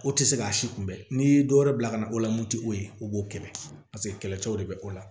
O tɛ se k'a si kunbɛ n'i ye dɔ wɛrɛ bila ka na o la mun ti o ye u b'o kɛlɛ paseke kɛlɛcɛw de bɛ o la